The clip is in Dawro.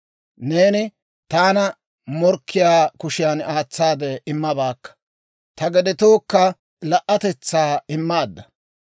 Neeni taana morkkiyaa kushiyan aatsaade immabaakka; ta gedetookka la"atetsaa immaadda.